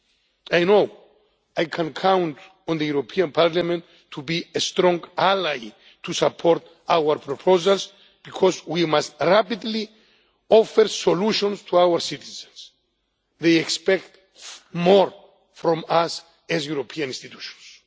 I know I can count on the European Parliament to be a strong ally to support our proposals, because we must rapidly offer solutions to our citizens. They expect more from us as European institutions.